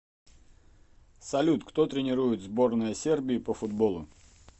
салют кто тренирует сборная сербии по футболу